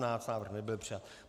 Návrh nebyl přijat.